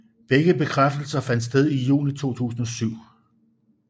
Begge bekræftelser fandt sted i juni 2007